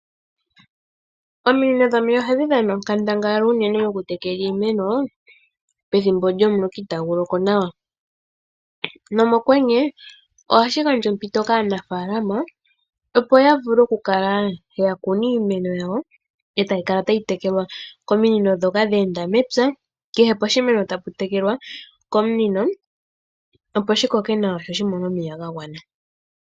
Ominino dhomeya ohadhi dhana onkandangala onene mokutekela iimeno pethimbo lyomuloka itaagu loko nawa nomokwenye ohashi gandja ompito kaanafaalama, opo ya kune iimeno yawo e tayi kala tayi tekelwa kominino ndhoka dhe enda mepya kehe poshimeno tapu kala tapu tekelwa komunino, opo shi koke nawa sho shi mone omeya ga gwana.